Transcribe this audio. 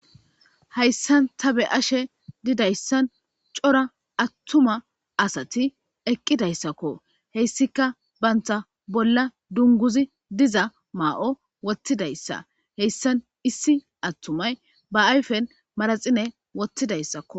Hayssan ta be ashe didayssan cora attuma asati eqqidayssakko heyssika banta bolla dunguzi diza maa'o wottidayssa heyssan issi attumay ba ayfen maraxine wottidayssakko